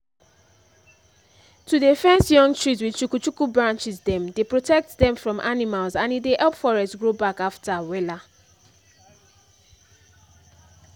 to dey fence young trees with chuku-chuku branches dem dey protect them from animals and e dey help forest grow back after wella